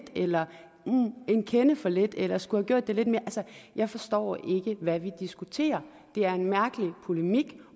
eller en kende for lidt eller skulle have gjort det lidt mere altså jeg forstår ikke hvad vi diskuterer det er en mærkelig polemik